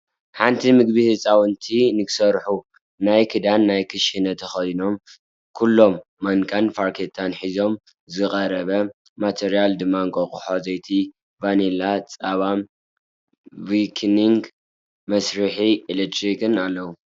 ሓንቲ ምግቢ ህፃውንቲ ንክሰርሑ ናይ ክዳን ናይ ክሽነ ተከዲኖም ኩሎም ማንካን ፋርኬታን ሒዞም ዝቀረበ ማትርያላት ድማ እንቃቁሖ፣ ዘይቲ፣ ቫኒላ፣ ፀባ፣ ቪኪንግ፣ መስርሒ ኤሌክትሪክን ኣለዉ ።